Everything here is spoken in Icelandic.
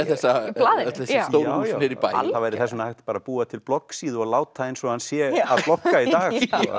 þessi stóru hús niðri í bæ það væri þess vegna hægt að búa til bloggsíðu og láta eins og hann sé að blogga í dag